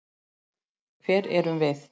Hver erum við?